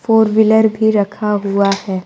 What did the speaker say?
Four wheeler भी रखा हुआ है।